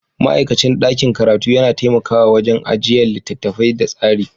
Ma'aikacin ɗakin karatu yana taimakawa wajen ajiyan littattafai da tsari.